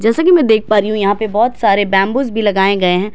जैसा की मैं देख पा रही हूँ यहाँ पे बहुत सारे बैम्बूस भी लगाए गए हैं।